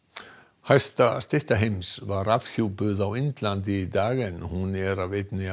hæsta stytta heims var afhjúpuð á Indlandi í dag en hún er af einni af